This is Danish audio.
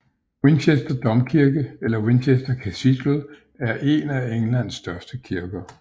Winchester Domkirke eller Winchester Cathedral er én af Englands største kirker